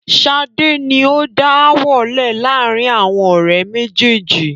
Sade ni ó dá ááwọ̀ lẹ laarin awọn ọ̀rẹ́ méjèèjì